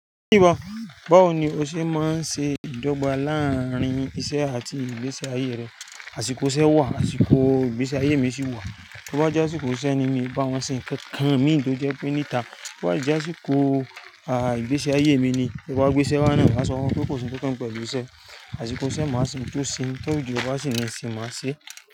Báwo ni o ṣe máa ń ṣe ìdọ́gba láàárín iṣẹ́ àti ìgbésí ayé rẹ? Àsìkò iṣẹ́ wà, àsìkò ìgbésí ayé mi sì wà. To bá jẹ́ àsìkò iṣẹ́ ni mi, bá wọn ṣe nǹkan kan mi tò jẹ́ pé níta. Bí o bá jẹ́ àsìkò ìgbésí ayé mi ni, to báa gbé iṣẹ́ wáà na, máa sọ fun wọ́n pé kò sí ohun tó kan mi pẹ̀lú iṣẹ́. Àsìkò iṣẹ́, màá ṣe ohun tí ó ṣe, ti o di ọ ba sì ní ìsìn, màá ṣe é.